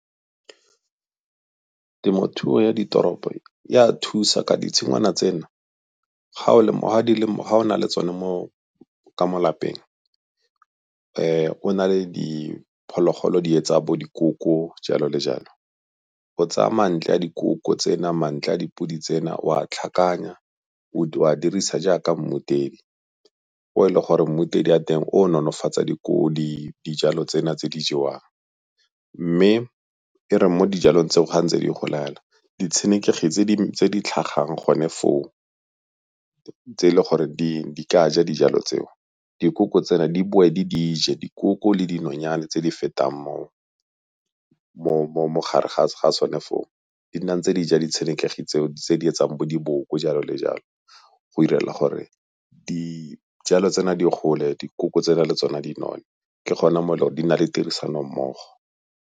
Temothuo ya ditoropo e a thusa ka ditshingwana tseno ga o na le tsone mo ka mo lapeng, o na le diphologolo di etsa bo dikoko jalo le jalo. O tsaya mantle a dikoko tsena mantle a dipudi tsena, o a a tlhakanya o a dirisa jaaka mmutedi o e le gore mmutedi wa teng o nolofatsa dijalo tsena tse di jewang. Mme e re mo dijalong tseo ga ntse di gola yana, ditshenekegi tse di tlhagang gone foo tse e le gore di ka ja dijalo tseo dikoko tsela di boe di di je, dikoko le dinonyane tse di fetang mo gare ga tsone foo di nna ntse di ja ditshenekegi tseo tse di etsang bo diboko, jalo le jalo. Go direla gore dijalo tsena di gole, dikoko tsela le tsona di none, ke gona e le gore di na le tirisanommogo.